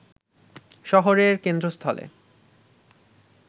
শহরের কেন্দ্রস্থলে